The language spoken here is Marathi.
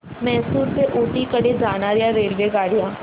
म्हैसूर ते ऊटी कडे जाणार्या रेल्वेगाड्या